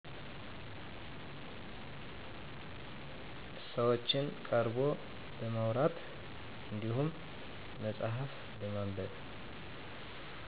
ሰዎችን ቀርቦ በማውራት እንድሁም መፅሐፍ በማንበብ